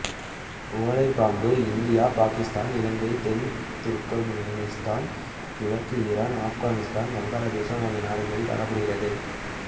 ஓலைப்பாம்பு India Pakistan Ilangai தென் Turkmenistan கிழக்கு Iran Afghanistan வங்காளதேசம் ஆகிய நாடுகளில் காணப்படுகிறது